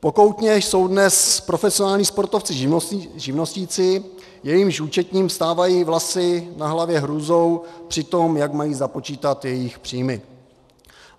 Pokoutně jsou dnes profesionální sportovci živnostníci, jejichž účetním vstávají vlasy na hlavě hrůzou při tom, jak mají započítat jejich příjmy.